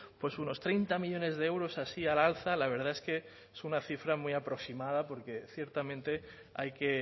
pues unos treinta millónes de euros así a la alza la verdad es que es una cifra muy aproximada porque ciertamente hay que